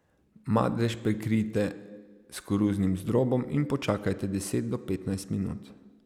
Madež prekrijte s koruznim zdrobom in počakajte deset do petnajst minut.